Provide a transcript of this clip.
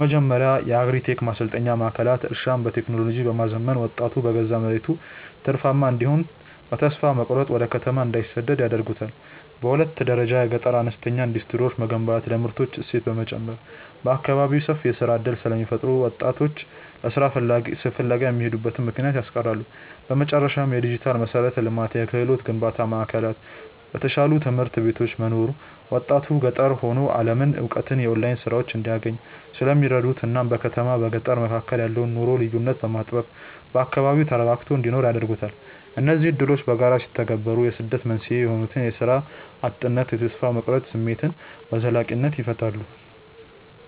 በመጀመሪያ የአግሪ-ቴክ ማሰልጠኛ ማዕከላት እርሻን በቴክኖሎጂ በማዘመን ወጣቱ በገዛ መሬቱ ትርፋማ እንዲሆንና በተስፋ መቁረጥ ወደ ከተማ እንዳይሰደድ ያደርጉታል። በሁለተኛ ደረጃ የገጠር አነስተኛ ኢንዱስትሪዎችን መገንባት ለምርቶች እሴት በመጨመር በአካባቢው ሰፊ የሥራ ዕድል ስለሚፈጥሩ ወጣቶች ለሥራ ፍለጋ የሚሄዱበትን ምክንያት ያስቀራሉ። በመጨረሻም፣ የዲጂታል መሠረተ ልማትና የክህሎት ግንባታ ማዕከላት በተሻሉ ትምህርት ቤቶች መኖሩ ወጣቱ ገጠር ሆኖ የዓለምን እውቀትና የኦንላይን ሥራዎችን እንዲያገኝ ስለሚረዱት እናም በከተማና በገጠር መካከል ያለውን የኑሮ ልዩነት በማጥበብ በአካባቢው ተረጋግቶ እንዲኖር ያደርጉታል። እነዚህ ዕድሎች በጋራ ሲተገበሩ የስደት መንስኤ የሆኑትን የሥራ እጥነትና የተስፋ መቁረጥ ስሜት በዘላቂነት ይፈታሉ።